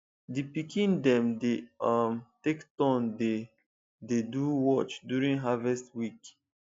the pikin dem dey um take turn dey dey do watch during harvest week